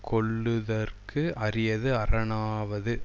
கொள்ளுதற்கு அரியது அரணாவது